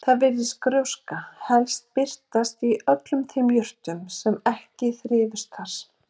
Þar virtist gróskan helst birtast í öllum þeim jurtum sem ekki þrifust þar.